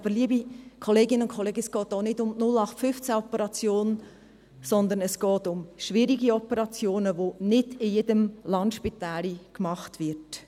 Aber, liebe Kolleginnen und Kollegen, es geht nicht um die 0815-Operation, sondern es geht um schwierige Operationen, die nicht in jedem Landspitälchen gemacht werden.